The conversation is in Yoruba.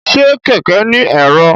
Ṣe kẹkẹ ni ẹ̀rọ?